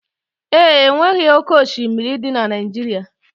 E nweghị oke oshimiri dị na Naijiria.